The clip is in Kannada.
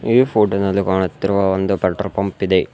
ಈ ಫೋಟೋ ದಲ್ಲಿ ಕಾಣುತ್ತಿರುವ ಒಂದು ಪೆಟ್ರೋಲ್ ಪಂಪ್ ಇದೆ.